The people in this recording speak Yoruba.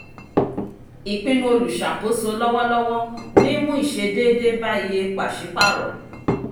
ìpinnu olùṣàkóso lọ́wọ́lọ́wọ́ ní mú ìṣe déédé bá iye pàṣípàrọ̀.